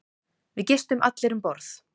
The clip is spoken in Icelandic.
Við gistum allir um borð.